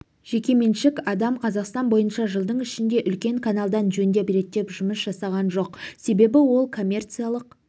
жекеменшік адам қазақстан бойынша жылдың ішінде үлкен каналды жөндеп-реттеп жұмыс жасаған жоқ себебі ол коммерциалық